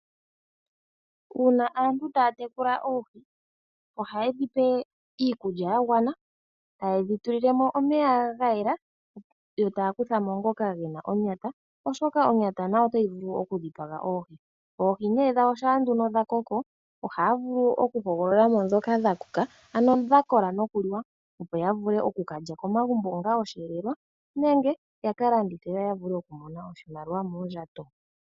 Uuna aantu taya tekula oohi ohaye dhi pe iikulya ya gwana, taye dhi tulile mo omeya ga yela, yo taya kutha mo ngoka ge na onyata oshoka onyata nayo otayi vulu okudhipaga oohi. Oohi nee dhawo shampa nduno dha koko, ohaya vulu okuhogolola mo ndhoka dha koka, ano ndhi dha kola noku liwa opo ya vule oku ka lya komagumbo onga osheelelwa, nenge ya ka landithe yo ya vule okumona oshimaliwa mooondjato.